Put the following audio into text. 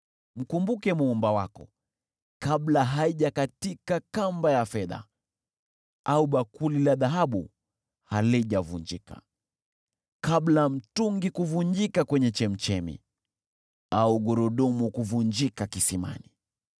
Mkumbuke Muumba wako: kabla haijakatika kamba ya fedha, au bakuli la dhahabu halijavunjika; kabla mtungi kuvunjika kwenye chemchemi, au gurudumu kuvunjika kisimani,